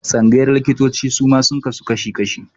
Tsangayar likitanci suma sun kasu kashi-kashi.